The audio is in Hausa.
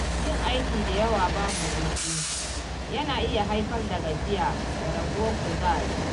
Yin aiki da yawa babu hutu, yana iya haifar da gajiya da raguwar kuzari.